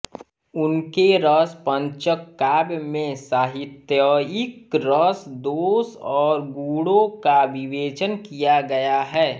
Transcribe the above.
उनके रसपंचक काव्य में साहित्यिक रस दोष और गुणों का विवेचन किया गया है